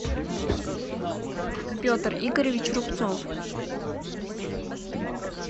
петр игоревич рубцов